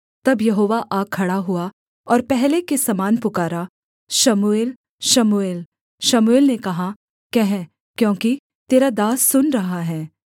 तब यहोवा आ खड़ा हुआ और पहले के समान पुकारा शमूएल शमूएल शमूएल ने कहा कह क्योंकि तेरा दास सुन रहा है